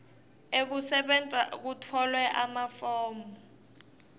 ekusebenta kutfolwe emafomu